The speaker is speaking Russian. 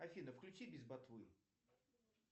афина включи без ботвы